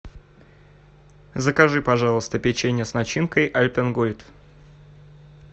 закажи пожалуйста печенье с начинкой альпен гольд